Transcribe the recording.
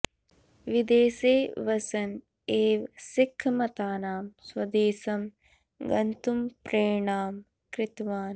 विदेशे वसन् एव सिख्खमतानां स्वदेशं गन्तुं प्रेरणां कृतवान्